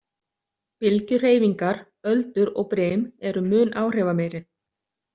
Bylgjuhreyfingar, öldur og brim, eru mun áhrifameiri.